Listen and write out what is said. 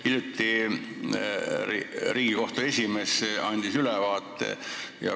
Hiljuti andis Riigikohtu esimees siin ülevaate.